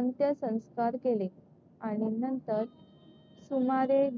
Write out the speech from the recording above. अंत्यसंस्कार केले. आणि नंतर सुमारे,